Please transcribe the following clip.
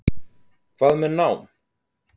Hvað með nám?